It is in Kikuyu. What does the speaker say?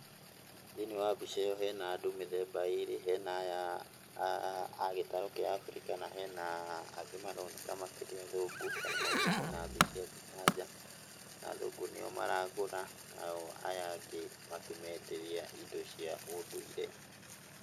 Thĩiniĩ wa mbica ĩyo he na andũ mĩthemba ĩrĩ, hena aya a gĩtarũ kĩa Abirika na hena angĩmaroneka makĩrĩ athũngũ kana maumĩte na thĩ cia nja, na athũngũ nĩ o maragũra na o aya angĩ makĩmenderia indo cia ũndũire.